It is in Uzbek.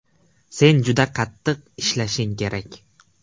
Sen juda qattiq ishlashing kerak.